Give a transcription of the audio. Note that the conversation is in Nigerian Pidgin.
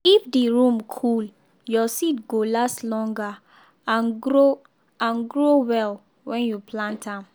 if the room cool your seed go last longer and grow and grow well when you plant am.